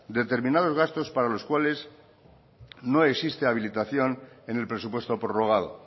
determinados gastos para los cuales no existe habilitación en el presupuesto prorrogado